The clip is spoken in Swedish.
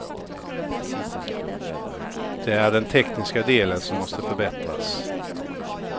Det är den tekniska delen som måste förbättras.